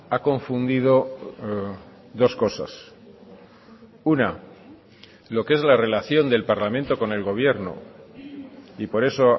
ha confundido dos cosas una lo que es la relación del parlamento con el gobierno y por eso